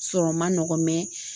Sɔrɔ man nɔgɔ